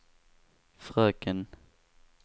fröken